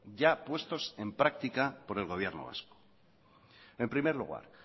ya puestos en práctica por el gobierno vasco en primer lugar